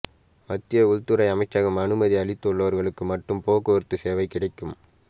மத்திய உள்துறை அமைச்சகம் அனுமதி அளித்துள்ளவர்களுக்கு மட்டும் போக்குவரத்து சேவை கிடைக்கும்